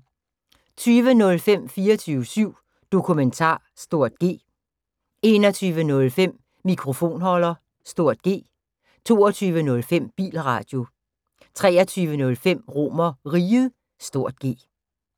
20:05: 24syv Dokumentar (G) 21:05: Mikrofonholder (G) 22:05: Bilradio 23:05: RomerRiget (G)